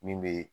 Min be